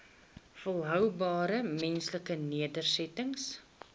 volhoubare menslike nedersettings